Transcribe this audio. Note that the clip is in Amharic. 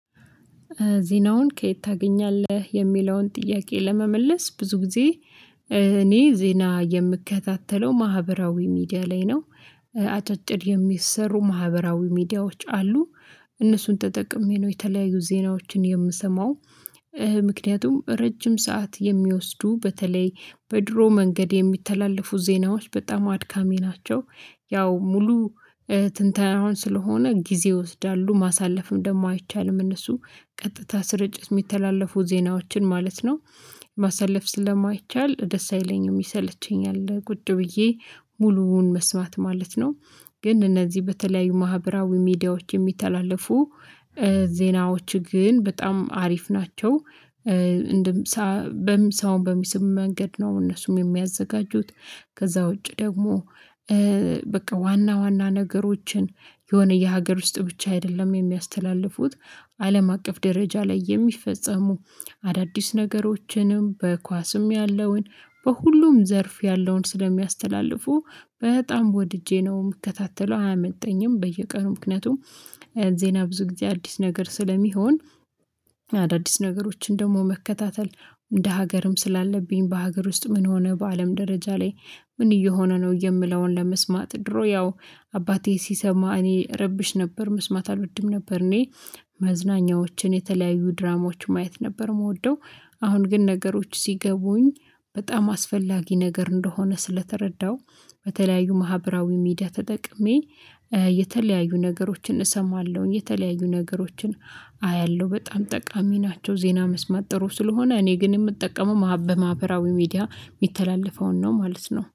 ዜናውን ከየት ታገኛለህ የሚለውን ጥያቄ ለመመለስ ብዙ ጊዜ እኔ ዜና የምከታተለው ማህበራዊ ሚዲያ ላይ ነው። አጫጭር የሚሰሩ ማህበራዊ ሚዲያዎች አሉ። እነሱን ተጠቅሜ ነው የተለያዩ ዜናዎችን የምሰማው። ምክንያቱም ረጅም ሰዓት የሚወስዱ በተለይ በድሮ መንገድ የሚተላለፉ ዜናዎች በጣም አድካሚ ናቸው። ያው ሙሉ ትንተናውን አሁን ስለሆነ ጊዜ ይወስዳሉ ማሳለፍም ደግሞ አይቻልም። እነሱ ቀጥታ ስርጭት ሚተላለፉ ዜናዎችን ማለት ነው። ማሳለፍ ስለማይቻል ደስ አይለኝም ይሰለቸኛል ቁጭ ብዬ ሙሉውን መስማት ማለት ነው። ግን እነዚህ በተለያዩ ማህበራዊ ሚዲያዎች የሚተላለፉ ዜናዎች ግን በጣም አሪፍ ናቸው። በምሳውን በሚስብ መንገድ ነው እነሱም የሚያዘጋጁት። ከዛ ውጪ ደግሞ በቃ ዋና ዋና ነገሮችን የሆነ የሀገር ውስጥ ብቻ አይደለም የሚያስተላልፉት። አለም አቀፍ ደረጃ ላይ የሚፈጸሙ አዳዲስ ነገሮችንም በኳስም ያለውን በሁሉም ዘርፍ ያለውን ስለሚያስተላልፉ በጣም ወድጄ ነው ምከታተለው አያመልጠኝም። በየቀኑ ምክንያቱም ዜና ብዙ ጊዜ አዲስ ነገር ስለሚሆን። አዳዲስ ነገሮችን ደግሞ መከታተል እንደ ሀገርም ስላለብኝ በሀገር ውስጥ ምን ሆነ በአለም ደረጃ ላይ? ምን እየሆነ ነው የምለውን ለመስማት ድሮ ያው አባቴ ሲሰማ እኔ ረብሽ ነበር መስማት አልወድም ነበር እኔ መዝናኛዎችን የተለያዩ ድራማዎች ማየት ነበር ምወደው። አሁን ግን ነገሮች ሲገቡኝ በጣም አስፈላጊ ነገር እንደሆነ ስለተረዳው። በተለያዩ ማህበራዊ ሚዲያ ተጠቅሜ የተለያዩ ነገሮችን እሰማለሁኝ የተለያዩ ነገሮችን። አያለሁ በጣም ጠቃሚ ናቸው ዜና መስማት ጥሩ ስለሆነ እኔ ግን የምጠቀመው በማህበራዊ ሚዲያ የሚተላለፈውን ነው ማለት ነው